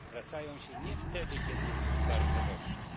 Zwracają się nie wtedy, kiedy jest im bardzo dobrze